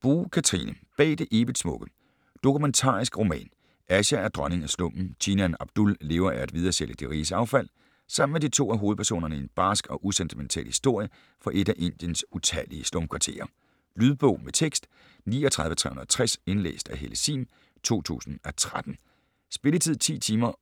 Boo, Katherine: Bag det evigt smukke Dokumentarisk roman. Asha er dronning af slummen, teenageren Abdul lever af at videresælge de riges affald. Sammen er de to af hovedpersonerne i en barsk og usentimental historie fra et af Indiens utallige slumkvarterer. Lydbog med tekst 39360 Indlæst af Helle Sihm, 2013. Spilletid: 10 timer,